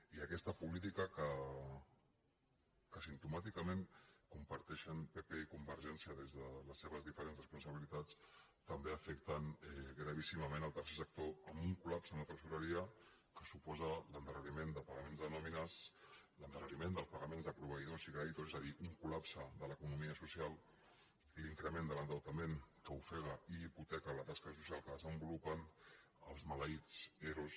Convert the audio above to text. i aquesta política que simptomàticament compartei·xen pp i convergència des de les seves diferents res·ponsabilitats també afecta gravíssimament el tercer sector amb un col·lapse en la tresoreria que suposa l’endarreriment de pagaments de nòmines l’endarre·riment del pagament de proveïdors i creditors és a dir un coldeutament que ofega i hipoteca la tasca social que de·senvolupen els maleïts ero